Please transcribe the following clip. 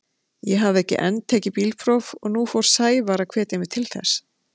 Ég hafði enn ekki tekið bílpróf og nú fór Sævar að hvetja mig til þess.